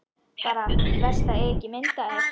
Bara verst að eiga ekki mynd af þér.